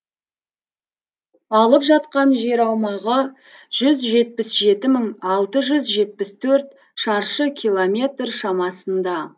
алып жатқан жер аумағы жүз жетпіс жеті бүтін алты жүз жетпіс төрт шаршы километр шамасында